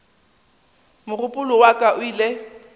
mogopolo wa ka o ile